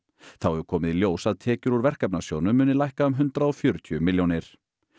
þá hefur komið í ljós að tekjur úr Verkefnasjóðnum muni lækka um hundrað og fjörutíu milljónir